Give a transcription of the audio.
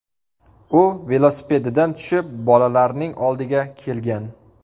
U velosipedidan tushib, bolalarning oldiga kelgan.